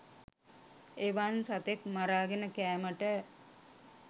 එවන් සතෙක් මරාගෙන කෑමට